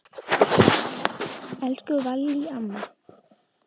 Elsku Vallý amma.